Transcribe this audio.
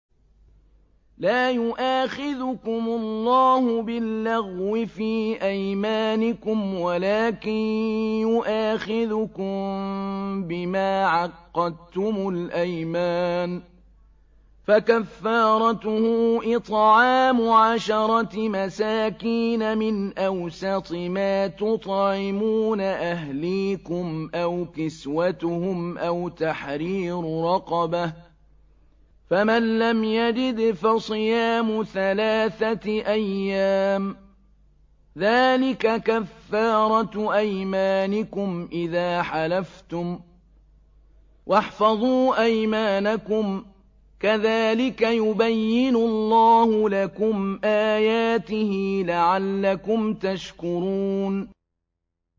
لَا يُؤَاخِذُكُمُ اللَّهُ بِاللَّغْوِ فِي أَيْمَانِكُمْ وَلَٰكِن يُؤَاخِذُكُم بِمَا عَقَّدتُّمُ الْأَيْمَانَ ۖ فَكَفَّارَتُهُ إِطْعَامُ عَشَرَةِ مَسَاكِينَ مِنْ أَوْسَطِ مَا تُطْعِمُونَ أَهْلِيكُمْ أَوْ كِسْوَتُهُمْ أَوْ تَحْرِيرُ رَقَبَةٍ ۖ فَمَن لَّمْ يَجِدْ فَصِيَامُ ثَلَاثَةِ أَيَّامٍ ۚ ذَٰلِكَ كَفَّارَةُ أَيْمَانِكُمْ إِذَا حَلَفْتُمْ ۚ وَاحْفَظُوا أَيْمَانَكُمْ ۚ كَذَٰلِكَ يُبَيِّنُ اللَّهُ لَكُمْ آيَاتِهِ لَعَلَّكُمْ تَشْكُرُونَ